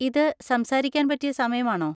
ഇത് സംസാരിക്കാൻ പറ്റിയ സമയമാണോ?